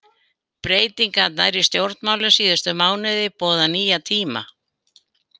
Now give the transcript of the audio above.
Breytingarnar í stjórnmálum síðustu mánuði boða nýja tíma.